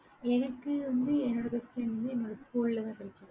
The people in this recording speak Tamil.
எனக்கு வந்து என்னோட best friend வந்து என்னோட school ல தான் கிடைச்சா.